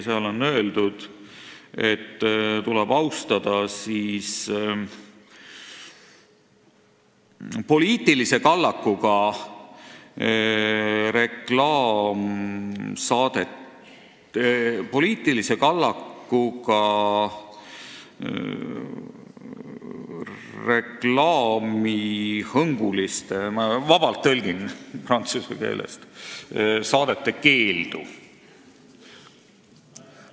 Seal on öeldud, et tuleb austada – vabalt tõlgin prantsuse keelest – poliitilise kallakuga reklaamihõnguliste saadete keeldu.